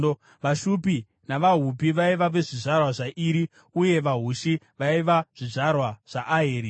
VaShupi navaHupi vaiva zvizvarwa zvaIri, uye vaHushi vaiva zvizvarwa zvaAheri.